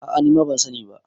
a a nima ban sani ba